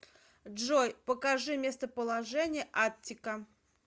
джой покажи местоположение аттика